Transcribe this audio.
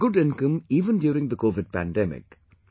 They had good income even during the Covid pandemic